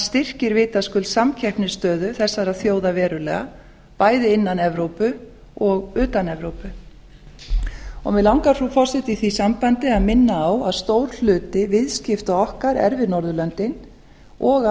styrkir vitaskuld samkeppnisstöðu þessara þjóða verulega bæði innan evrópu og utan evrópu mig langar frú forseti í því sambandi að minna á að stór hluti viðskipta okkar er við norðurlöndin og að